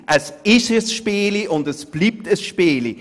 Es ist ein Spiel und bleibt ein Spiel.